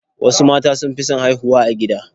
Wasu mata sun fi son haihuwa a gida